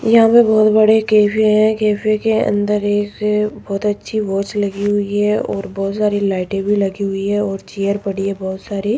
यहां पे बहुत बड़े कैफे है कैफे के अंदर एक बहोत अच्छी वॉच लगी हुई है और बहुत सारी लाइटे भी लगी हुई है और चेयर पड़ी है बहोत सारी।